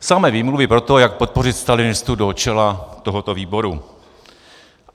Samé výmluvy pro to, jak podpořit stalinistu do čela tohoto výboru.